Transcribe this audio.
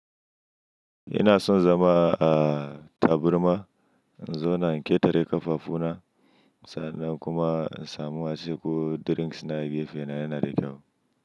Ina son zama a tabarma, in zo na ƙetare ƙafafu na, sannan kuma in samu wasu ko drinks na gefe na yana da kyau.